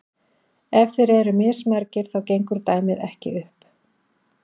ef þeir eru mismargir þá gengur dæmið ekki upp